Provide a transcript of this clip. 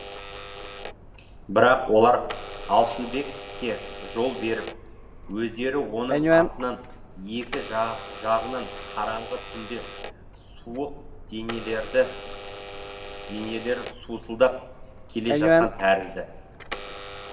бірақ олар алшынбекке жол беріп өздері оның артынан екі жағынан қараңғы түнде суық денелері сусылдап келе жатқан тәрізді